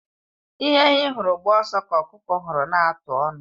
Ihe ehi hụrụ gbaa ọsọ ka ọkụkọ hụrụ n'atụ ọnụ.